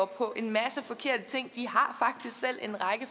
på en masse forkerte ting